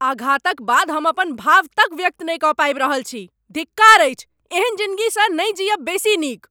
आघातक बाद हम अपन भाव तक व्यक्त नहि कऽ पाबि रहल छी। धिक्कार अछि, एहन जिनगीसँ नहि जीयब बेसी नीक।